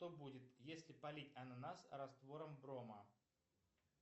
что будет если полить ананас раствором брома